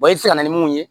i bɛ se ka na ni mun ye